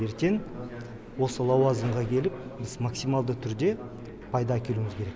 ертең осы лауазымға келіп біз максималды түрде пайда әкелуіміз керек